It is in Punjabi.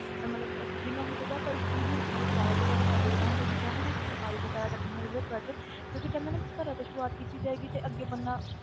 ਅਹ ਮਤਲਬ ਅਹ ਜਿੰਨਾ ਹੋ ਸਕਦਾ ਆਪਾਂ ਇਸ ਚੀਜ਼ ਨੂੰ ਮਤਲਬ ਜ਼ਿਆਦਾ ਤੋਂ ਜ਼ਿਆਦਾ ਕਰਦੇ, ਜਿੱਦਾਂ ਹੁਣ ਤੁਸੀਂ ਕਿਹਾ ਨਾ ਕਿ ਸਫ਼ਾਈ ਵਗ਼ੈਰਾ ਰੱਖਣੀ ਆਂ better ਕਿਉਂਕਿ ਕਹਿੰਦੇ ਆ ਨਾ ਕਿ ਘਰਾਂ ਤੋਂ ਸ਼ੁਰੂਆਤ ਕੀਤੀ ਜਾਏਗੀ ਤੇ ਅੱਗੇ ਬੰਦਾ,